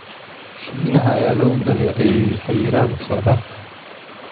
Shiinaha ayaa lagu dhaleeceeyay xayiraadda socdaalka.